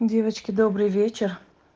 девочки добрый вечер